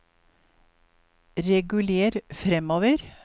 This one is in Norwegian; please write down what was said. reguler framover